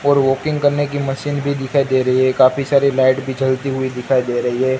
और वॉकिंग करने की मशीन भी दिखाई दे रही है काफी सारी लाइट भी जलती हुई दिखाई दे रही हैं।